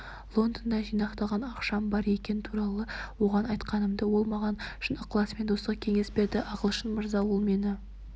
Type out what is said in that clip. лондонда жинақталған ақшам бар екені туралы оған айтқанымда ол маған шын ықыласымен достық кеңес берді ағылшын мырза ол мені